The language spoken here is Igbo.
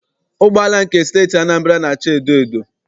Ụgbọala nke Steeti Anambra na- acha edoedo.